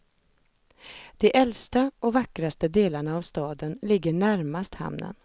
De äldsta, och vackraste, delarna av staden ligger närmast hamnen.